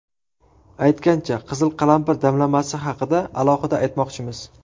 Aytgancha, qizil qalampir damlamasi haqida alohida aytmoqchimiz.